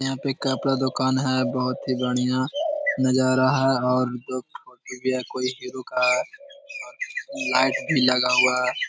यहाँ पे कपड़ा दुकान है। बोहोत ही बढ़िया नजारा है और कोई हीरो का लाइट भी लगा हुआ है।